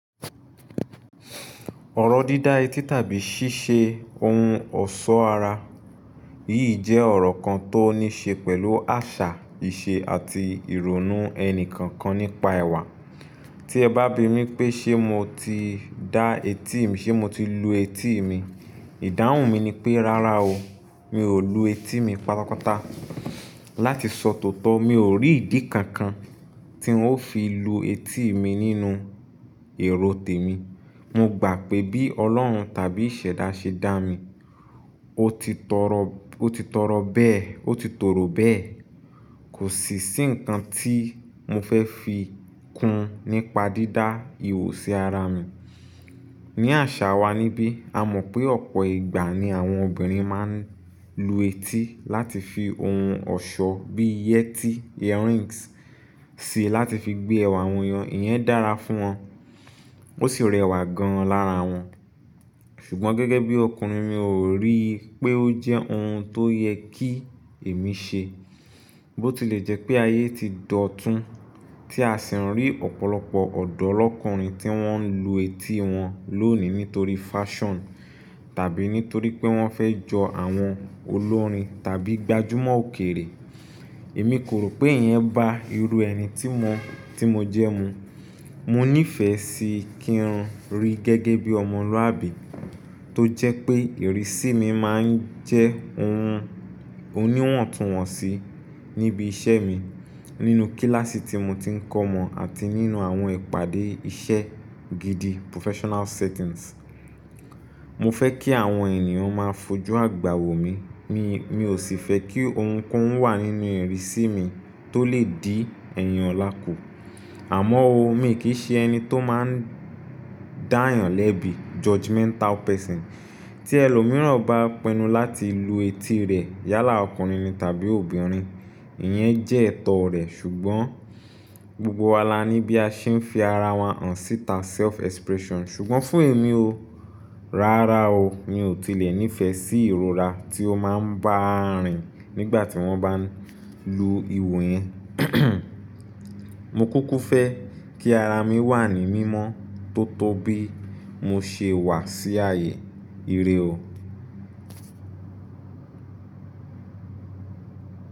Ọ̀rọ̀ dídá etí tàbí ṣíṣe ohun ọ̀ṣọ́ ara, yìí jẹ́ ọ̀rọ̀ kan tó ní ṣe pẹ̀lú àṣà, ìṣe àti ìrònú ẹni kankan nípa ẹwà. Tí ẹ bá bi mí pé, ṣé mo ti dá etí mi? Ṣé mo ti lu etí mi? Ìdáhùn mi ni pé, rárá o, mi ò lu etí mi pátápátá. Láti sọ tòótọ́, mi ò rí ìdí kankan tí ń ó fi lu etí mi nínú èrò tèmi. Mo gbà pé bí Ọlọ́run tàbí iṣẹ̀dá ṣe dá mi, ó ti tọrọ, ó ti tọrọ bẹ́ẹ̀, ó ti tòrò bẹ́ẹ̀. Kòsì sí ǹkan tí mo fẹ́ fi kún nípa dídá ihò sí ara mi. Ni àṣà wa níbí, a mọ̀ pé ọ̀pọ̀ ìgbà ni àwọn obìnrin máa ń lu etí láti fi ohun ọ̀ṣọ́ bí yẹtí, earrings, sí i láti fi gbé ẹwà wọ̀nyo. Ìyẹn dára fún wọn, ó sì rẹwà gan-an lára wọn. Ṣùgbọ́n gẹ́gẹ́ bí ọkùnrin, mi ò rí i pé ó jẹ́ ohun tó yẹ kí èmi ṣe. Bó ti lè jẹ́ pé ayé ti dọ̀tún, tí a sì ń rí ọ̀pọ̀lọpọ̀ ọ̀dọ́ lọ́kùnrin tí wọ́n ń lu etí wọn lónìí nítorí fashion tàbí nítorí pé wọ́n fẹ́ jọ àwọn olórin tàbí gbajúmọ̀ òkèrè. Èmi kò rò pé ìyẹn ba irú ẹni tí mo, tí mo jẹ́ mu. Mo nífẹ̀ẹ́ sí kí n rí gẹ́gẹ́ bí ọmọlúàbí tó jẹ́ pé ìrísí mi máa ń jẹ́ ohun oníwọ̀ntúnwọ̀nsí níbi iṣẹ́ mi, nínú kíláàsì tí mo ti ń kọ́ ọmọ àti nínú àwọn ìpàdé iṣẹ́ gidi, professional settings. Mo fẹ́ kí àwọn ènìyàn máa fojú àgbà wò mi. Mi, mi ò sì fẹ́ kí ohunkóhun wà nínú ìrísí mi tó lè dí ẹ̀yin olá kù. Àmọ́ o, mi kì í ṣe ẹni tó máa ń dáyàn lẹ́bi, judgemental person. Tí ẹlòmíràn bá pinnu láti lu etí rẹ̀ yálà ọkùnrin ni tàbí obìnrin, ìyẹn jẹ́ ẹ̀tọ́ rẹ̀. Ṣùgbọ́n gbogbo wa la níbí a ṣe ń fi ara wa hàn síta, self expression. Ṣùgbọ́n fún èmi o, rárá o, mi ò tilẹ̀ nífẹ̀ẹ́ sí ìrora tí ó máa ń bá a rìn nígbà tí wọ́n bá ń lu ihò yẹn. Mo kúkú fẹ́ kí ara mi wà ní mímọ́ tó tó bí mo ṣe wà sí ayé. Irè o.